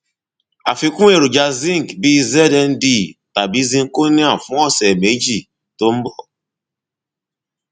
àfikún èròjà zinc bíi znd tàbí zinconia fún ọsẹ méjì tó ń bọ